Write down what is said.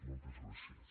moltes gràcies